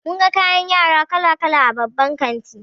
Mun ga kayan yara kala kala a babban kanti.